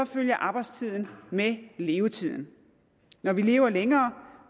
følger arbejdstiden med levetiden når vi lever længere